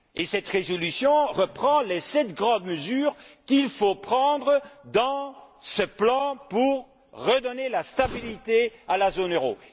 Celle ci reprend les sept grandes mesures qu'il faut prendre dans ce plan pour redonner la stabilité à la zone euro.